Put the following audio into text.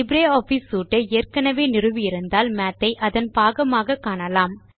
LibreOffice suite ஐ ஏற்கெனெவே நிறுவி இருந்தால் மாத் ஐ அதன் பாகமாக காணலாம்